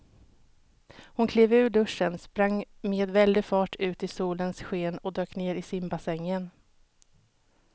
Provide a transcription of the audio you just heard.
Hon klev ur duschen, sprang med väldig fart ut i solens sken och dök ner i simbassängen.